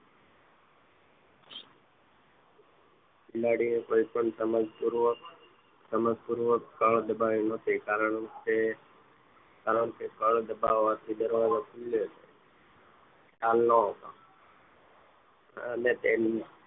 બિલાડી એ કોઈપણ સમજક પૂર્વક કળ દબાવી ન હતી કારણકે કળ દબાવવાથી દરવાજો ખુલ્યે ખ્યાલ ન હતો અને તેની